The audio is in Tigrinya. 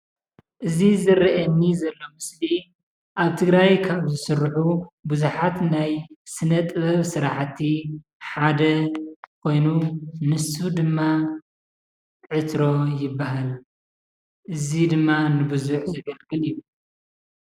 እዚ ዝረኣየኒ ዘሎ ምስሊ ኣብ ትግራይ ካብ ዝስርሑ ብዙሓት ናይ ስነ ጥበብ ስራሕቲ ሓደ ኮይኑ ንሱ ድማ ዕትሮ ይበሃል እዚ ድማ ንብዙሕ ዘገልግል እዩ።